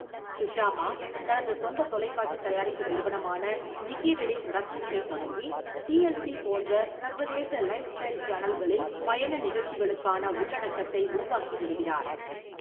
சுஷாமா தனது சொந்த தொலைக்காட்சி தயாரிப்பு நிறுவனமான நிக்கி ரெடி புரொடக்ஷன்ஸைத் தொடங்கி, டி.எல்.சி போன்ற சர்வதேச லைஃப்ஸ்டைல் சேனல்களில் பயண நிகழ்ச்சிகளுக்கான உள்ளடக்கத்தை உருவாக்கி வருகிறார்.